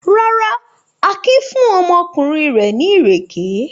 Rárá, Akin fún ọmọkùnrin rẹ̀ ní ìrèké.